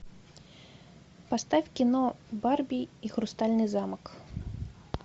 поставь кино барби и хрустальный замок